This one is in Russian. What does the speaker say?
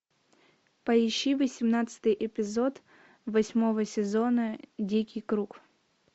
поищи восемнадцатый эпизод восьмого сезона дикий круг